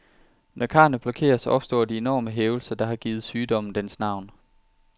Når karrene blokeres, opstår de enorme hævelser, der har givet sygdommen dens navn.